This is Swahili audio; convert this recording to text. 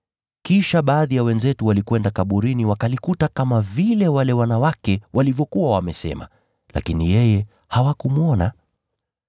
Kisha baadhi ya wenzetu walikwenda kaburini wakalikuta kama vile wale wanawake walivyokuwa wamesema, lakini yeye hawakumwona.”